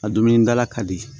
A dumunidala ka di